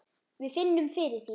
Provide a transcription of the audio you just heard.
Við finnum fyrir því.